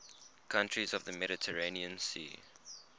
countries of the mediterranean sea